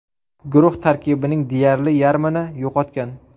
Guruh tarkibining deyarli yarmini yo‘qotgan.